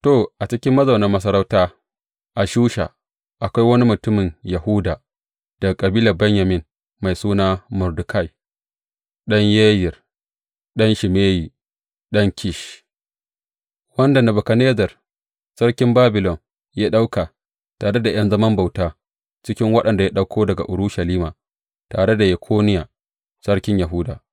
To, a cikin mazaunin masarauta a Shusha, akwai wani mutumin Yahuda, daga Kabilar Benyamin mai suna Mordekai, ɗan Yayir, ɗan Shimeyi, ɗan Kish, wanda Nebukadnezzar sarkin Babilon ya ɗauka tare ’yan zaman bauta cikin waɗanda ya ɗauko daga Urushalima, tare da Yekoniya, sarkin Yahuda.